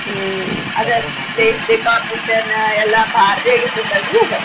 ಹ್ಮ್. stage decoration ಎಲ್ಲಾ ಭಾರೀ ಆಗಿರ್ತೇತಲ್ರೀ ಅದ್.